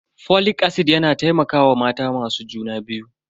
Folic acid na taimakawa mata masu juna biyu.